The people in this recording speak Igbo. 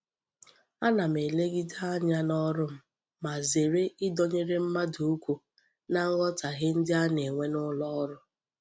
Ana m elegide anya n'oru m ma zere idonyere mmadu ukwu na nghotahie ndi a na-enwe n'uloru.